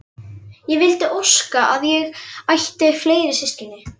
Ég vildi óska að ég ætti fleiri systkini.